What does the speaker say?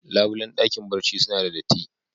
Labulen dakin barci suna da datti.